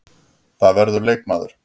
Það verður leikmaður.